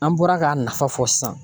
An bɔra k'a nafa fɔ sisan